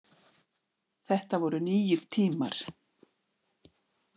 Þetta voru nýir tímar.